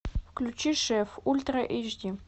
включи шеф ультра эйч ди